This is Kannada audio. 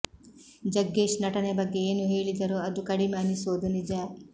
ಜಗ್ಗೇಶ್ ನಟನೆ ಬಗ್ಗೆ ಏನೂ ಹೇಳಿದರೂ ಅದು ಕಡಿಮೆ ಅನಿಸೋದು ನಿಜ